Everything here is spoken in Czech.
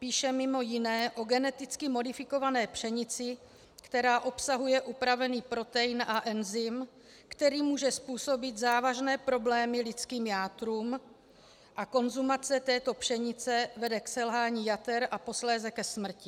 Píše mimo jiné o geneticky modifikované pšenici, která obsahuje upravený protein a enzym, který může způsobit závažné problémy lidským játrům, a konzumace této pšenice vede k selhání jater a posléze ke smrti.